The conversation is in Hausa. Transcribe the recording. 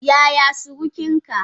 Yaya surukin ka?